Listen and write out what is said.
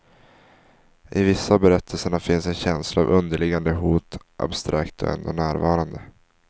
I vissa av berättelserna finns en känsla av underliggande hot, abstrakt och ändå närvarande.